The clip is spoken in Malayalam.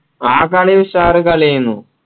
ആ കളി ഉഷാറ് കളിഎനു